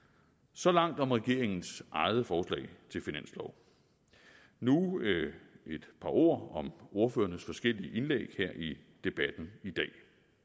så langt om regeringens eget forslag til finanslov nu et par ord om ordførernes forskellige indlæg her i debatten i dag